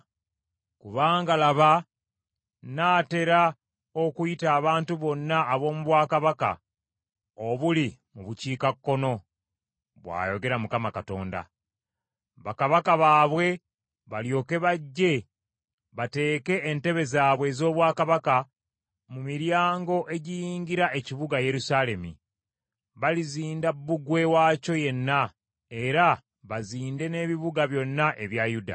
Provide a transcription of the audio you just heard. Kubanga laba nnaatera okuyita abantu bonna ab’omu bwakabaka obuli mu bukiikakkono,” bw’ayogera Mukama Katonda. Bakabaka baabwe balyoke bajje bateeke entebe zaabwe ez’obwakabaka mu miryango egiyingira ekibuga Yerusaalemi, balizinda bbugwe waakyo yenna era bazinde n’ebibuga byonna ebya Yuda.